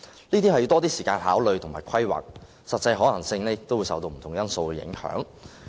這些需較多時間考慮和規劃，實際可行性亦會受不同因素影響。